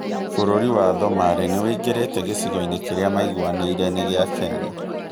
bũrũri wa Somalia nĩ ũingĩrĩte gĩcigo-inĩ kĩrĩa maiguanĩ ire nĩ gĩ a Kenya